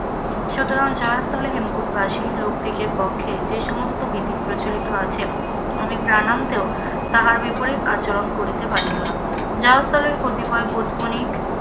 সুতরাং জয়স্থলে হেমকূটবাসী লোকদিগের পক্ষে যে সমস্ত বিধি প্রচলিত আছেন আমি প্রাণান্তেও তাহার বিপরীত আচরণ করিতে পারিব না, জয়স্থলের কতিপয় বণিক,